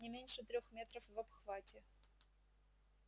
не меньше трёх метров в обхвате